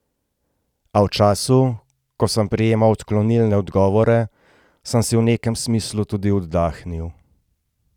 A v času, ko sem prejemal odklonilne odgovore, sem si v nekem smislu tudi oddahnil.